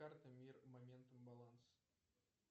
карта мир моментум баланс